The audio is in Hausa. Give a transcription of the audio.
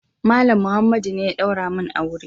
Malam Muhammadu ne ya daura min aure.